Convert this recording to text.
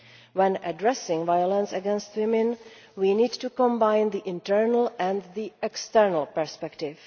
When addressing violence against women we need to combine the internal and the external perspective.